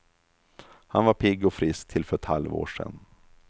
Han var pigg och frisk till för ett halvår sedan.